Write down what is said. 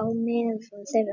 á meðal þeirra.